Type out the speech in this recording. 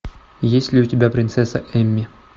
есть ли у тебя принцесса эмми